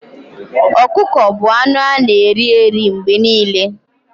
Ọkụkọ bu anụ ana eri mgbe niile